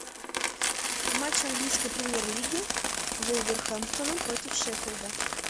матч английской премьер лиги вулверхэмптона против шеффилда